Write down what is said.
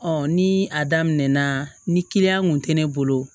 ni a daminɛna ni kiliyan kun tɛ ne bolo